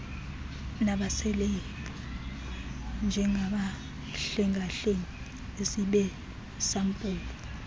nabaselebhu njengabahlengahlengisi besampulu